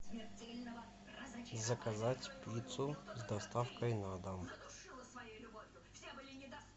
заказать пиццу с доставкой на дом